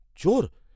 চোর!